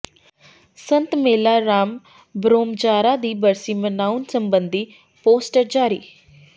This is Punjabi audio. ਸੰਤ ਮੇਲਾ ਰਾਮ ਭਰੋਮਜਾਰਾ ਦੀ ਬਰਸੀ ਮਨਾਉਣ ਸਬੰਧੀ ਪੋਸਟਰ ਜਾਰੀ